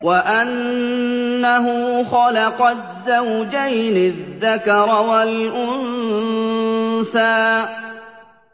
وَأَنَّهُ خَلَقَ الزَّوْجَيْنِ الذَّكَرَ وَالْأُنثَىٰ